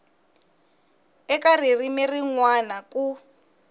eka ririmi rin wana ku